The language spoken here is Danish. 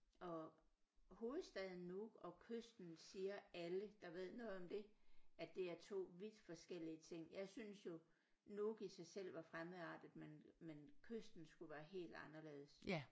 Og hovedstaden Nuuk og kysten siger alle der ved noget om det at det er 2 vidt forskellige ting jeg synes jo Nuuk i sig selv var fremmedartet men men kysten skulle være helt anderledes